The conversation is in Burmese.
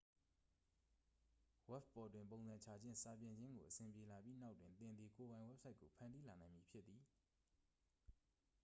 ဝဘ်ပေါ်တွင် ပုံစံချခြင်း စာပြင်ခြင်းကို အဆင်ပြေလာပြီးနောက်တွင် သင်သည် ကိုယ်ပိုင် ဝက်ဘ်ဆိုက်ကို ဖန်တီးလာနိုင်မည်ဖြစ်သည်